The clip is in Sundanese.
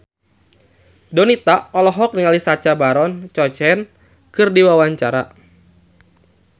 Donita olohok ningali Sacha Baron Cohen keur diwawancara